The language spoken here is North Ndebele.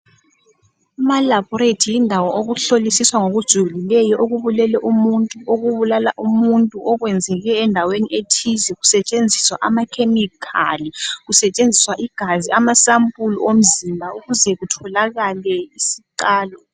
Amalabhorethi yindawo yokuhlolisisa ngokujulileyo okubulele umuntuokubulala umuntu okwenzeke endaweni ethize kusetshenziswa amakhemikhali kusetshenziswa igazi amasampuli omzimba ukuze kutholakale isiqalo.